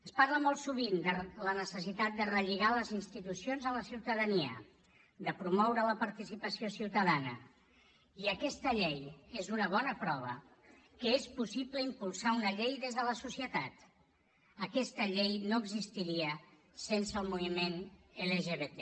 es parla molt sovint de la necessitat de relligar les institucions amb la ciutadania de promoure la participació ciutadana i aquesta llei és una bona prova que és possible impulsar una llei des de la societat aquesta llei no existiria sense el moviment lgbt